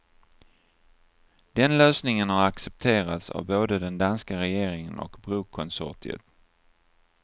Den lösningen har accepterats av både den danska regeringen och brokonsortiet.